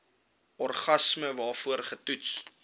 organisme waarvoor getoets